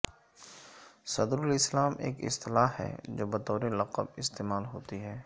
صدر الاسلام ایک اصطلاح ہے جو بطور لقب استعمال ہوتی ہے